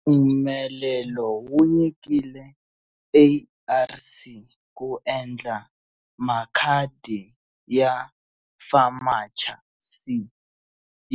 Mpfumelelo wu nyikiwile ARC ku endla makhadi ya FAMACHA c